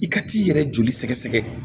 I ka t'i yɛrɛ joli sɛgɛsɛgɛ